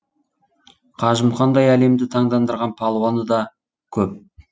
қажымұқандай әлемді таңдандырған палуаны да көп